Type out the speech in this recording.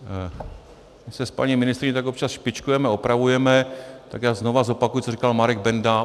My se s paní ministryní tak občas špičkujeme, opravujeme, tak já znovu zopakuji, co říkal Marek Benda.